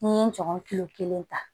N'i ye nɔgɔn kilo kelen ta